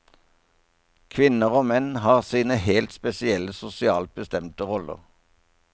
Kvinner og menn har sine helt spesielle sosialt bestemte roller.